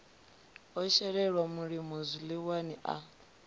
o shelelwa mulimo zwiḽiwani a